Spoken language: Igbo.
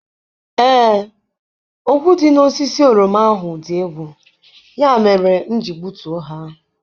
Ee, ogwu dị n'osisi oroma ahụ dị egwu, ya mere m ji gbutuo ha.